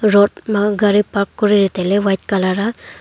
road ma gari park kori re taile white colour aa.